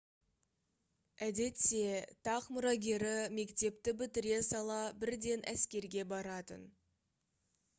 әдетте тақ мұрагері мектепті бітіре сала бірден әскерге баратын